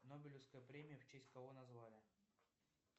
нобелевская премия в честь кого назвали